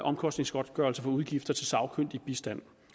omkostningsgodtgørelse for udgifter til sagkyndig bistand